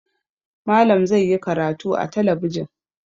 Malam zai yi karatu a talabijin.